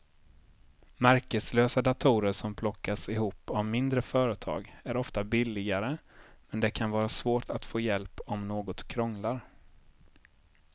Märkeslösa datorer som plockas ihop av mindre företag är ofta billigare men det kan vara svårt att få hjälp om något krånglar.